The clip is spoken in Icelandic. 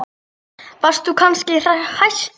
Varst þú kannski hæstur?